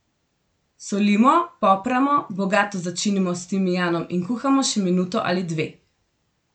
Solimo, popramo, bogato začinimo s timijanom in kuhamo še minuto ali dve.